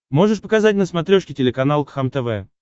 можешь показать на смотрешке телеканал кхлм тв